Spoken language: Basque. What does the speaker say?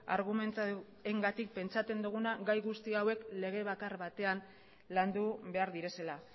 argumentuengatik pentsatzen duguna gai guzti hauek lege bakar batean landu behar direla